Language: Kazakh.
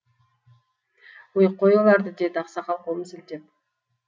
өй қой оларды деді ақсақал қолын сілтелеп